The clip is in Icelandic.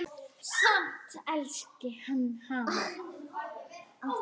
Samt elski hann hana.